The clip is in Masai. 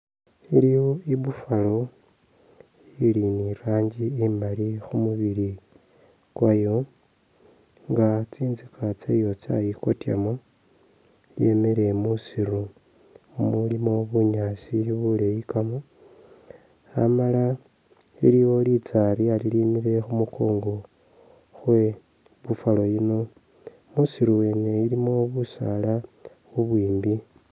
Iliwo i'buffalo ili ni rangi imaali khumubili kwayo nga tsintsika tsayo tsayi kotyamo, yemile musiiru mumulimo bunyaasi buleyikamo amala iliwo litsarya lilimile khumukongo khwebuffalo yino, musiiru wene ilimo busaala bubwimbi